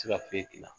Se ka foyi dilan